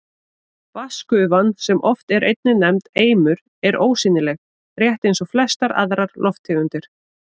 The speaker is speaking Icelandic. Vatnsgufan, sem oft er einnig nefnd eimur, er ósýnileg, rétt eins og flestar aðrar lofttegundir.